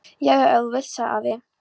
Já, já ef þú vilt. sagði afi.